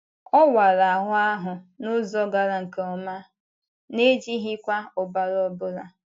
Ọ̀ wàrà ahụ́ ahụ n’ụzọ gara nke ọma—n’ejighịkwa ọbara ọ bụla.